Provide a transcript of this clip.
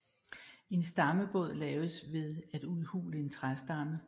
En stammebåd laves ved at udhule en træstamme